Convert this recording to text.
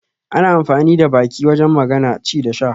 Ana amfani da baki wajen magana, ci da sha